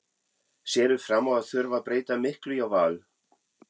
Sérðu fram á að þurfa að breyta miklu hjá Val?